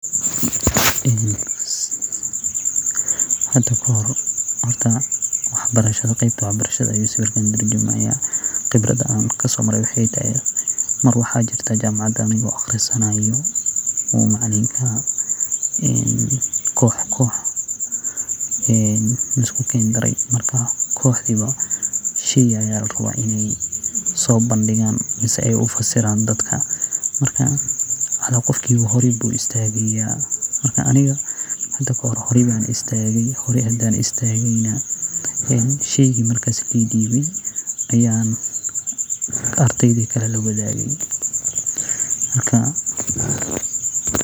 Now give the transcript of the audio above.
Horta qeybta wax barashadaa ayu sawirkan katurjumaya waxa an kasomare wexey tahay mar anigo jamacada aqrisanayo ayu macalinka kox koox ayu iskugukendire marka kox bo shey aya larawa in ey sobandigan mise ey ufasiran dadka marka cala qofki bo horey ayu istagaya. Aniga horey ayan istage ee sheygi marka laidibe ayan ardeyda lawadage.